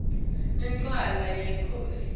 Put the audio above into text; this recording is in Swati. incwala yenkhosi